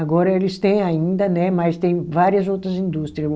Agora eles têm ainda né, mas tem várias outras indústria.